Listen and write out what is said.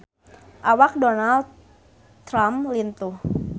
Awak Donald Trump lintuh